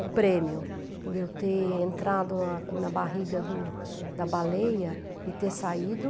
O prêmio, por eu ter entrado na ns barriga do da baleia e ter saído...